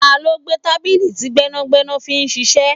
Ta ló gbé tábìlì tí gbẹ́nàgbẹ́nà fi ń ṣíṣe?